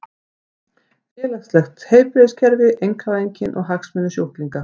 Félagslegt heilbrigðiskerfi, einkavæðingin og hagsmunir sjúklinga.